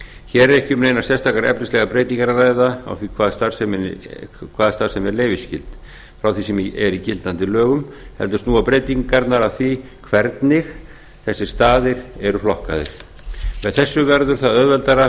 hér er ekki um neinar sérstakar efnislegar breytingar að ræða á því hvaða starfsemi er leyfisskyld frá því sem er í gildandi lögum heldur snúa breytingarnar að því hvernig þessir staðir eru flokkaðir með þessu verður það auðveldara